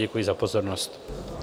Děkuji za pozornost.